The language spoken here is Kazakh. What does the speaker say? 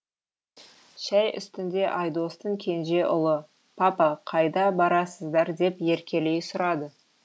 шай үстінде айдостың кенже ұлы папа қайда барасыздар деп еркелей сұрады